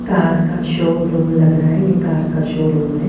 Car का showroom लग रहा है ये कार शो रूम है।